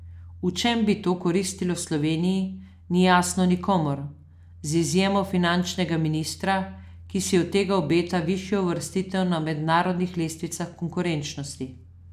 V čem bi to koristilo Sloveniji, ni jasno nikomur, z izjemo finančnega ministrstva, ki si od tega obeta višjo uvrstitev na mednarodnih lestvicah konkurenčnosti.